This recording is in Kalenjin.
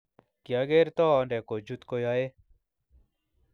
kiaker toonde kochut koyoe